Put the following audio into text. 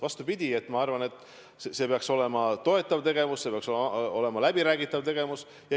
Vastupidi, ma arvan, see peaks olema toetav tegevus, see peaks olema läbiräägitav tegevus.